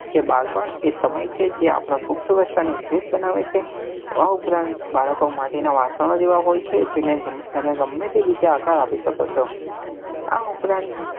કે બાળપણ એ સમય છે જે આપડા પુખ્ત્વસ્થા ને વિશેષ બનાવે છે આ ઉપરાંત બાળકો માટે ની વાસનો જ એવા હોય છે જેને તમે ગમે તે રીતે આકાર આપી શકો છો